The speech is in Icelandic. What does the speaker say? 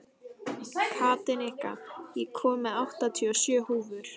Katinka, ég kom með áttatíu og sjö húfur!